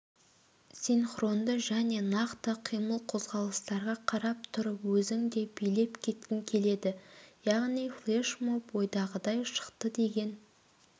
синхронды және нақты қимыл-қозғалыстарға қарап тұрып өзің де билеп кеткің келеді яғни флешмоб ойдағыдай шықты деген